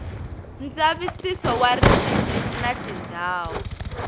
ndzavisiso wa ririmi na tindhawu